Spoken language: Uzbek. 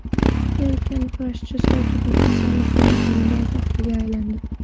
Erkin kurashchi Sirojiddin Hasanov bronza medal sohibiga aylandi.